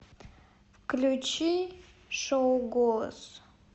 включи шоу голос